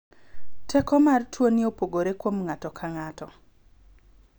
Teko mar tuo ni opogore kuom ng'ato ka ng'ato.